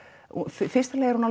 fyrsta lagi er hún